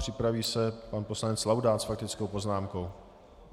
Připraví se pan poslanec Laudát s faktickou poznámkou.